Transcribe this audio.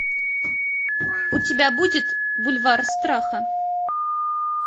у тебя будет бульвар страха